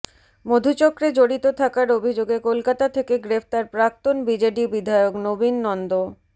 মধুচক্রে জড়িত থাকার অভিযোগে কলকাতা থেকে গ্রেফতার প্রাক্তন বিজেডি বিধায়ক নবীন নন্দ